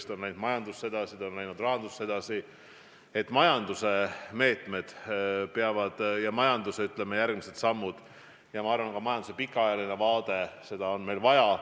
See on läinud kogu majandusse, sh rahandusse edasi ja majanduse meetmed, majanduse järgmised sammud ja ma arvan, ka majanduse pikaajaline vaade – seda on meil vaja.